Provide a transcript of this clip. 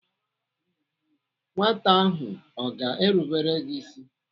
Nwata ahụ ọ ga-erubere gị ịsị?